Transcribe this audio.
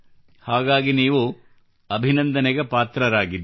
ಹಾಗಾಗಿ ನೀವು ಅಭಿನಂದನೆಗೆ ಪಾತ್ರರಾಗಿದ್ದೀರಿ